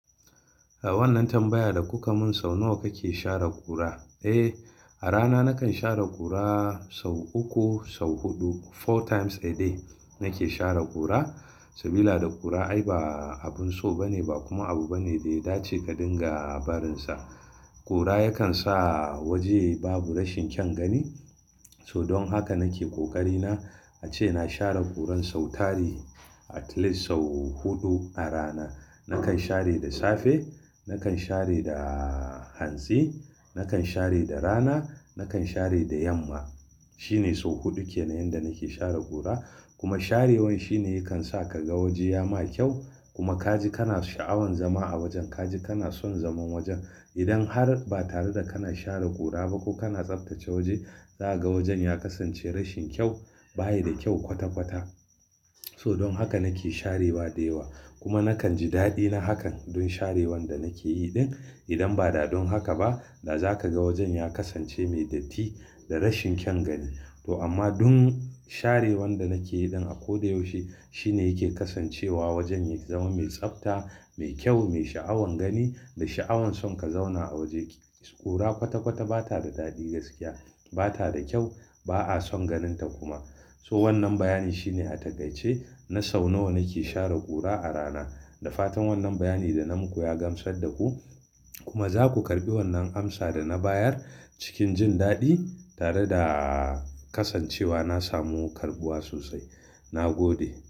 A wannan tambaya da kuka mun sau nawa kake share ƙura? Eh, a rana nakan share ƙura sau uku, sau huɗu. Four times a day nake share ƙura. Sabida ƙura ai ba abun so bane, ba kuma abu bane da ya dace ka dinga a barinsa. Ƙura yakan sa waje yayi babu rashin kyan gani. So don haka nake ƙoƙari na ace na share ƙuran sau tari at least sau huɗu a rana. Nakan share da safe, nakan share da hantsi, nakan share da rana, nakan share da yamma. Shine sau huɗu kenan yanda nake share ƙura. Kuma sharewan shine yakan sa ka ga waje ya ma kyau. Kuma kaji kana sha'awan zama a wajen, kaji kana son zaman wajen. Idan har ba tare da kana share ƙura ba ko kana tsaftace waje, za ka ga wajen ya kasance rashin kyau, baya da kyau kwata-kwata. So don haka nake sharewa da yawa. Kuma nakan ji daɗi na hakan don sharewan da nake yi ɗin. Idan ba da don haka ba, da za ka ga wajen ya kasance mai datti da rashin kyan gani. To amma don sharewan da nake yi ɗin a ko da yaushe shine yake kasancewa wajen ya zama mai tsafta, mai kyau, mai sha'awan gani da sha'awan son ka zauna a wajen ki. Ƙura kwata-kwata bata da daɗi gaskiya, bata da kyau, ba'a son ganin ta kuma. So wannan bayani shine a taƙaice na sau nawa nake share ƙura a rana. Da fatan wannan bayani da na muku ya gamsar da ku. Kuma za ku karɓi wannan amsa da na bayar cikin jin daɗi tare da kasancewa na samu karɓuwa sosai. Na gode.